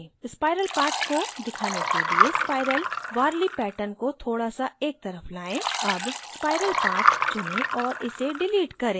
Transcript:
spiral path को दिखाने के लिए spiral warli pattern को थोड़ा s एक तरफ लाएं अब spiral path चुनें और इसे डिलीट करें